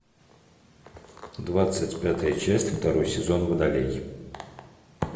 двадцать пятая часть второй сезон водолей